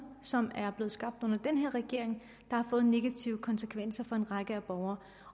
som er blevet skabt under den her regering har fået en negativ konsekvens for en række borgere